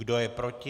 Kdo je proti?